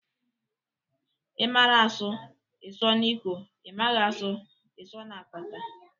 Ị mara asụ, ị sụọ n'ikwe, ị maghị a sụọ ị sụọ na apata